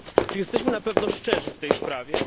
Czy jesteśmy na pewno szczerzy w tej sprawie?